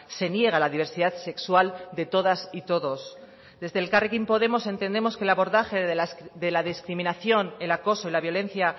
se niega la diversidad sexual de todas y todos desde elkarrekin podemos entendemos que el abordaje de la discriminación el acoso y la violencia